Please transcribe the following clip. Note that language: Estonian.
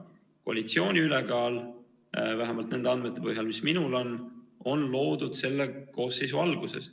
Koalitsiooni ülekaal on – vähemalt nende andmete põhjal, mis minul on – loodud selle koosseisu alguses.